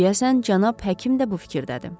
Deyəsən cənab həkim də bu fikirdədir.